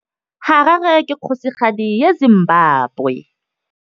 Harare ke kgosigadi ya Zimbabwe.